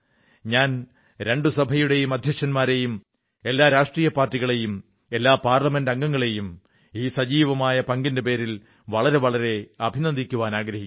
ഞാൻ രണ്ടു സഭകളുടെയും അധ്യക്ഷന്മാരെയും എല്ലാ രാഷ്ട്രീയ പാർട്ടികളെയും എല്ലാ പാർലമെന്റംഗങ്ങളെയും ഈ സജീവമായ പങ്കിന്റെ പേരിൽ വളരെ വളരെ അഭിനന്ദിക്കുവാനാഗ്രഹിക്കുന്നു